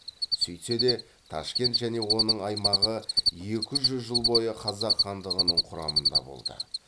сөйтсе де ташкент және оның аймағы екі жүз жыл бойы қазақ хандығының құрамында болды